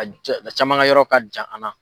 a jan a caman ka yɔrɔ ka jan an na.